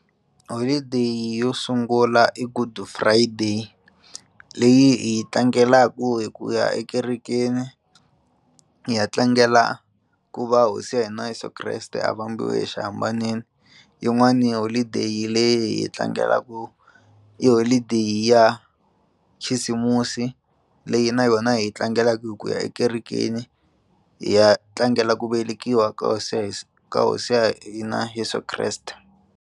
Holideyi yo sungula i Good friday leyi hi yi tlangelaku hi ku ya ekerekeni hi ya tlangela ku va hosi ya hi na Yeso kreste a vambiwa exihambaneni yin'wani holideyi leyi hi tlangelaku i holideyi ya khisimusi leyi na yona hi yi tlangelaku hi ku ya ekerekeni hi ya tlangela ku velekiwa ka hosi Yesu ka hosi ya hina Yeso kreste.